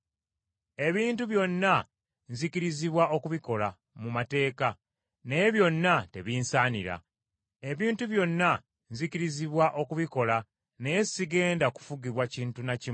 Ebintu byonna nzikirizibwa okubikola, mu mateeka, naye byonna tebinsanira. Ebintu byonna nzikirizibwa okubikola naye sigenda kufugibwa kintu na kimu.